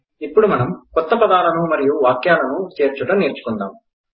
ఇప్పుడు మనం కొత్త పాదాలను మరియు వాక్యాలను చేర్చడం నేర్చుకుందాం